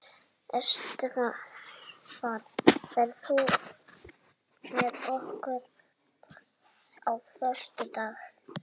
Estefan, ferð þú með okkur á föstudaginn?